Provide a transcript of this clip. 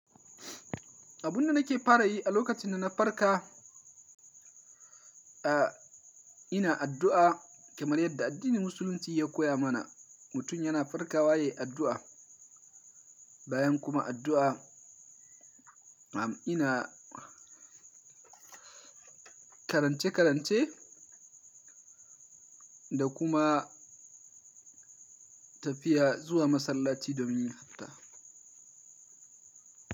Abunda nake fara yi a lokacin da na farka, a ina addu'a kamar yadda addinin musulunci ya koya mana. Mutum yana farkawa yayi addu'a, bayan kuma addu'a, am ina karance-karance da kuma tafiya zuwa masallaci domin yin hatta.